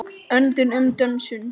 Öndum og dönsum.